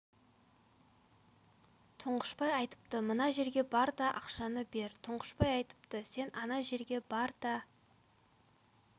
тұңғышбай айтыпты мына жерге бар да ақшаны бер тұңғышбай айтыпты сен ана жерге бар да